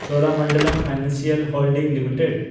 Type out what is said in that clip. Cholamandalam Financial Holdings limited